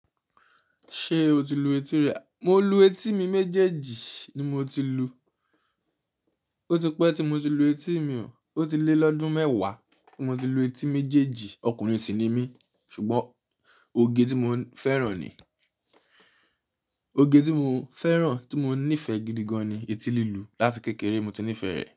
Ṣé o ti lu etí rẹ? Mo lu etí mi méjèèjì ni mo ti lu. Ó ti pẹ́ tí mo ti lu etí mi o. Ó ti lé lọ́dún mẹ́wàá tí mo ti lu etí méjèèjì. Ọkùnrin sì ni mí ṣùgbọ́n oge tí mò ń fẹ́ràn ni. Oge tí mò ń fẹ́ràn, tí mò ń nífẹ̀ẹ́ gidi gan ni etí lílu. Láti kékeré mo ti nífẹ̀ẹ́ rẹ̀